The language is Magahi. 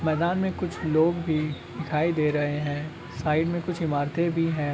मैदान में कुछ लोग भी दिखाई दे रहे हैं साइड में कुछ ईमारते भी हैं।